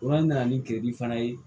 nana ni kege fana ye